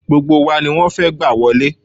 Gbogbo wa ni wọ́n fẹ́ gbà wọlé